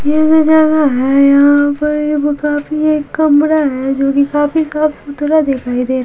ये जगह है यहां पर काफी एक कमरा है जो कि काफी साफ सुधरा दिखाई देता है।